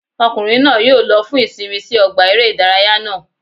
Ọkùnrin náà yóò lo fún ìsinmi sí ọgbà eré ìdárayá náà